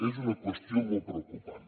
és una qüestió molt preocupant